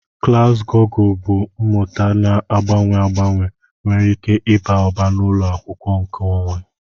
Klas Gugul na mmụta na-agbanwe agbanwe nwere ike ịba ụba n'ụlọ akwụkwọ nkeonwe.